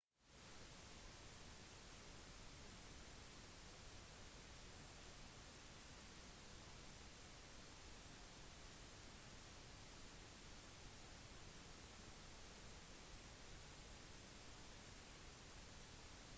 noen inkludert john grant tror at både økonomiske problemer og et skifte i filosofien for pedagogiske tv-serier bidro til at serien ble stoppet